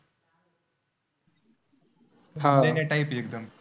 आह लेण्या type आहे एकदम,